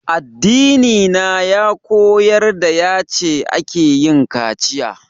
Addina ya koyar da yace akeyin kaciya